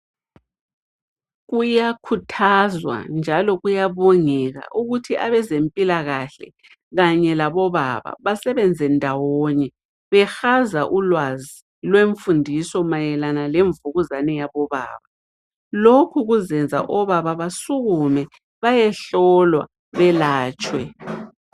Kuyakhuthazwa njalo kuyabongeka ukuthi abeze mpilakahle kanye labo baba basebenze ndawonye behaza ulwazi lwemfundiso mayelana lengemvukuzane yabo baba. Lokhu kuzenza obaba basukume baye hlolwa belatshwe.